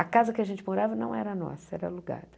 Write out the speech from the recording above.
A casa que a gente morava não era nossa, era alugada.